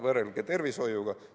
Võrrelge tervishoiuga!